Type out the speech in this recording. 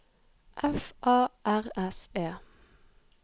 F A R S E